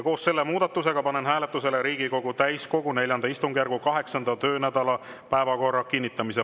Koos selle muudatusega panen hääletusele Riigikogu täiskogu IV istungjärgu 8. töönädala päevakorra kinnitamise.